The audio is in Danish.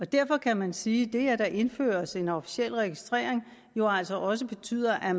derfor kan man sige at det at der indføres en officiel registrering jo altså også betyder at